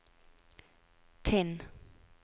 Tinn